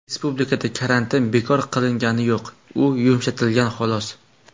Respublikada karantin bekor qilingani yo‘q, u yumshatilgan, xolos.